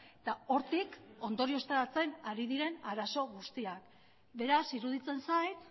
eta hortik ondorioztatzen ari diren arazo guztiak beraz iruditzen zait